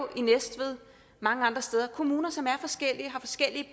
mange andre steder kommuner som har forskellige